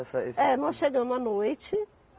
Essa, esse. É, nós chegamos à noite